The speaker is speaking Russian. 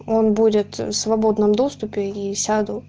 он будет в свободном доступе и сяду